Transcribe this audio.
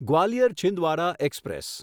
Gwalior Chhindwara express